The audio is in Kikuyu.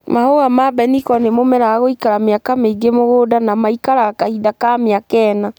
Mahũa ma mbeniko nĩ mũmera wa gũikara mĩaka mĩingĩ mũgũnda na maikaraga kahinda ka mĩaka ĩna.